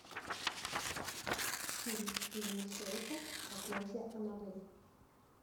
фильм стивена херика проклятье анабель